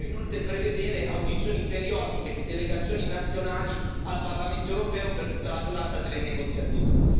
È necessario inoltre prevedere audizioni periodiche di delegazioni nazionali al Parlamento europeo per tutta la durata delle negoziazioni.